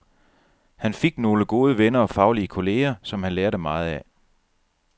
Han fik nogle gode venner og faglige kolleger, som han lærte meget af.